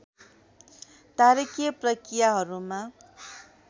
तारकीय प्रक्रियाहरूमा